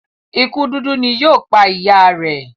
ikú dúdú ní yíò pá ìyá rẹ.